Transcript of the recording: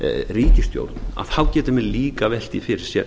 ríkisstjórn geti menn líka velt því fyrir sér